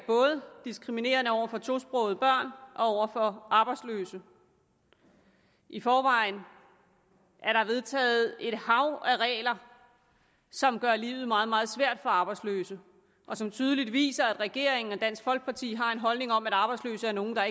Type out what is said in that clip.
diskriminerende både over for tosprogede børn og over for arbejdsløse i forvejen er der vedtaget et hav af regler som gør livet meget meget svært for arbejdsløse og som tydeligt viser at regeringen og dansk folkeparti har en holdning om at arbejdsløse er nogle der